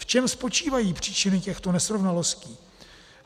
V čem spočívají příčiny těchto nesrovnalostí?